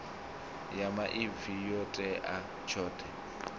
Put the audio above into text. ya maipfi yo tea tshoṱhe